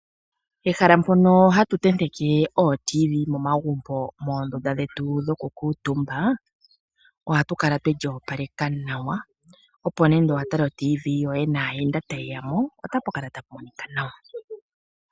Ehala mpono hatu tenteke ooradio dhomuzinzimbe momagumbo getu moonduna dhoku kuutumba ohali kala lyoopalekwa nawa, opo nande omuntu watala oradio yomuzizimbe yoye naayenda ta yeyamo ohapu kala tamu monika nawa.